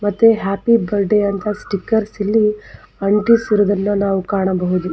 ಮತ್ತೆ happy birthday ಅಂತ stickers ಇಲ್ಲಿ ಅಂಟಿಸಿರುವುದನ್ನು ನಾವು ಕಾಣಬಹುದು.